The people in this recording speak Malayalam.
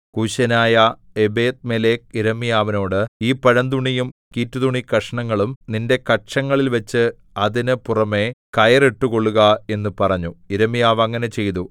കൂശ്യനായ ഏബെദ്മേലെക്ക് യിരെമ്യാവിനോട് ഈ പഴന്തുണിയും കീറ്റുതുണിക്കഷണങ്ങളും നിന്റെ കക്ഷങ്ങളിൽ വച്ച് അതിന് പുറമെ കയറിട്ടുകൊള്ളുക എന്ന് പറഞ്ഞു യിരെമ്യാവ് അങ്ങനെ ചെയ്തു